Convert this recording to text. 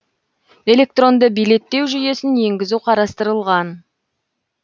электронды билеттеу жүйесін енгізу қарастырылған